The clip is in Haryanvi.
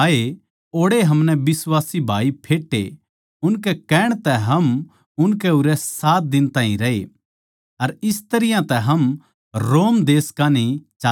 ओड़ै हमनै बिश्वासी भाई फेट्टे उनकै कहणे तै हम उनकै उरै सात दिन ताहीं रहे अर इस तरियां तै हम रोम देश कान्ही चाल्ले